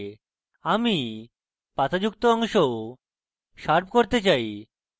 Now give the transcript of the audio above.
আমি পাতা যুক্ত অংশও শার্প করতে চাই